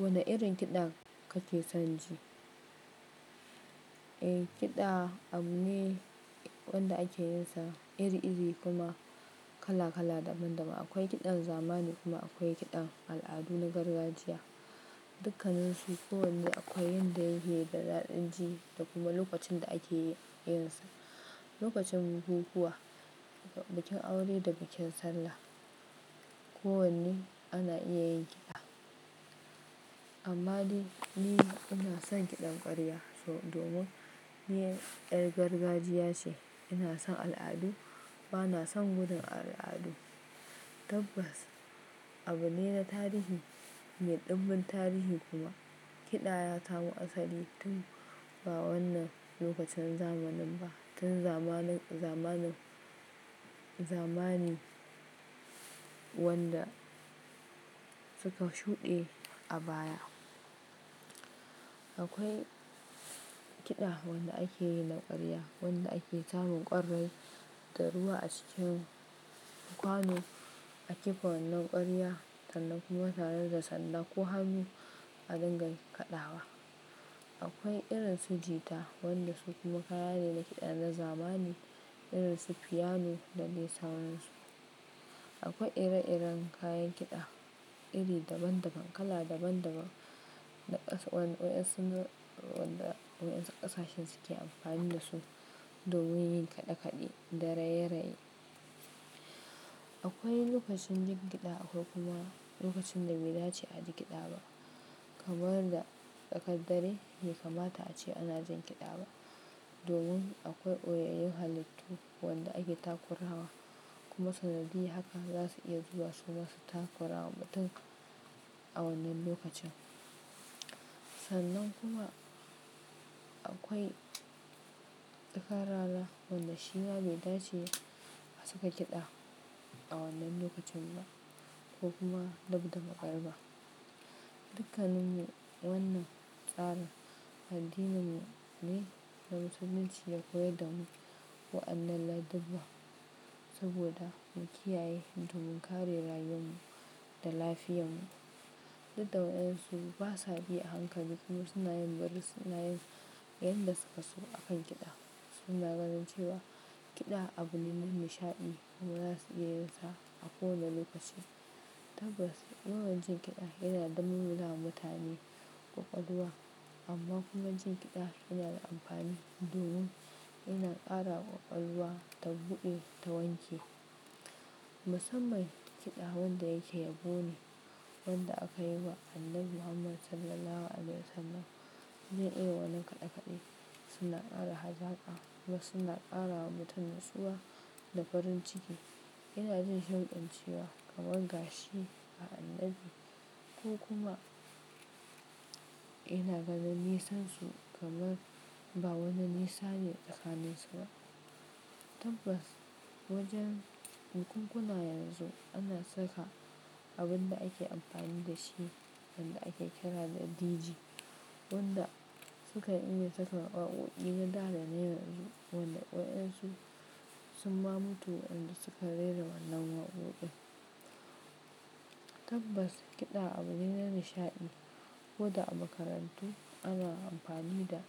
Wane irin kiɗa kake son ji? Eh, kiɗa abu ne wanda ake yinsa iri-iri kuma kala-kala daban-daban. Akwai kiɗan zamani kuma akwai kiɗan al'adu na gargajiya. Dukkanansu kowanne akwai yanda yake da daɗin ji da kuma lokacin da ake yinsa. Lokacin bukukuwa, bikin aure da bikin sallah. Kowanne ana iya yin kiɗa. Amma ni, ni ina son kiɗan ƙwarya. So domin ni ƴar gargajiya ce. Ina son al'adu, bana son gudun al'adu. Tabbas, abu ne na tarihi mai ɗimbin tarihi kuwa, kiɗa ya samo asali tun ba wannan lokacin zamanin ba. Tun zamanin, zamanin, zamani wanda suka shuɗe a baya. Akwai, kiɗa wanda ake yi na ƙwarya, wanda ake samun ƙwarrai da ruwa a ciki, Kwano, a kifa wannan ƙwarya, sannan kuma tare da sanda, ko hannu a dinga kaɗawa. Akwai irinsu jita wandasu kuma kaya ne na kiɗa na zamani, irinsu piano da dai sauransu. Akwai ire-iren kayan kiɗa, iri daban-daban, kala daban-daban da ƙasa-- wanda waɗansu wanda waɗansu ƙasashen suke amfani da su domin yin kaɗe-kaɗe da raye-raye. Akwai lokacin jin kiɗa akwai kuma lokacin da bai dace a ji kiɗa ba. Kamar da tsakad dare bai kamata ace ana jin kiɗa ba, domin akwai ɓoyayyun halittu wanda ake takurawa, kuma sanadiyya haka za su iya zuwa su masu takurawa mutum a wannan lokacin. Sannan kuma akwai tsakar rana, wanda shima bai dace a saka kiɗa a wannan lokacin ba ko kuma dabda Maghriba. Dukkanin wannan tsarin addininmu ne na musulunci ya koyar da mu, wa'annan ladubba saboda mu kiyaye don mu kare rayuwanmu da lafiyarmu. Duk da waƴansu ba sa bi a hankali, kuma suna yin, bari suna yin, yanda suka so a kan kiɗa. Suna ganin cewa kiɗa abu ne na nishaɗi, kuma za su iya yin sa a kowane lokaci. Tabbas, wannan jin kiɗan, yana da malmala wa mutane ƙwaƙwalwa, amma kuma jin kiɗa yana da amfani domin yana ƙarawa ƙwaƙwalwa, ta buɗe, ta wanke. Musamman kiɗa wanda yake yabo ne, wanda aka yaba wa Annabi Muhammad Sallallahu Alaihi Wasallam, iri-irin wannan kaɗe-kaɗe, suna ƙara hazaƙa, kuma suna ƙara wa mutum natsuwa da farin ciki. Ina jin shauƙin cewa, kamar gashi ga Annabi, ko kuma ina ganin nisansu, kamar ba wani nisa ne tsakaninsu ba. Tabbas, wajen bukunkuna yanzu, ana saka abun da ake amfani da shi wanda ake kira da DJ, wanda sukan iya saka waƙoƙi na da, da na yanzu wanda waƴansu, sun ma mutu wa'inda suka rera wannan waƙoƙin. Tabbas, kiɗa abu ne na nishaɗi, ko da a makarantu, ana amfani da